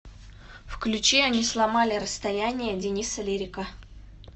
включи они сломали расстояние дениса лирика